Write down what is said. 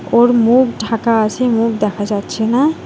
ওর মুখ ঢাকা আছে মুখ দেখা যাচ্ছে না।